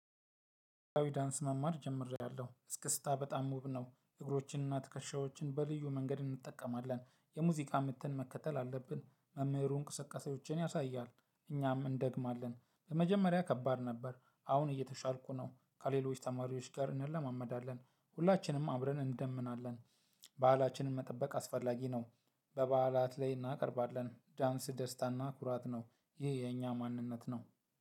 አዊ ዳንስ መማር ጀምሪያለው እስክስታ በጣም ውብ ነው። እግሮችንና ትክሻዎችን በልዩ መንገድ እንጠቀማለን የሙዚቃ ምትን መከተል አለብን መምህሩ እንቅስቃሴዎችን ያሳያል እኛም እንደግማለን ለመጀመሪያ ከባድ ነበር። አሁን እየተሻልኩ ነው። ከሌሎች ተማሪዎች ጋር እንለማመዳለን ሁላችንም አብረን እንደምናለን። በዓላችንን መጠበቅ አስፈላጊ ነው። በበዓላት ላይ እናቀርባለን ዳንስ ደስታና ኩራት ነው። ይህ የኛ ማንነት ነው።